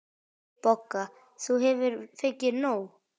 BOGGA: Þú hefur fengið nóg.